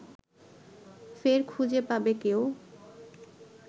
ফের খুঁজে পাবে কেউ